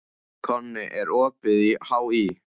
Konni, er opið í HÍ?